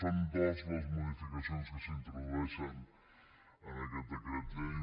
són dues les modificacions que s’introdueixen en aquest decret llei